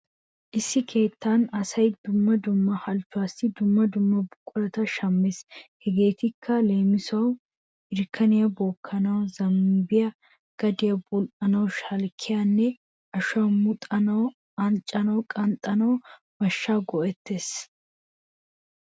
Issi keettan asay dumma dumma halchchuwassi dumma dumma buqurata shammees. Hegeetikka leemisuwawu irkkaniya bookkanawu zaabbiya gadiya bul"anawu shalkkiyanne ashuwa muxanawunne unccaa qanxxanawu mashshaa go'ettees.